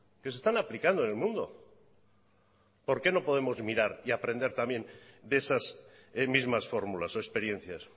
que se están aplicando en el mundo por qué no podemos mirar y aprender también de esas mismas fórmulas o experiencias